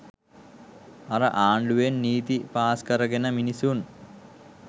අර ආණ්ඩුවෙන් නීති පාස්කරගෙන මිනිසුන්